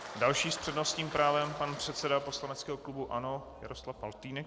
Další s přednostním právem pan předseda poslaneckého klubu ANO Jaroslav Faltýnek.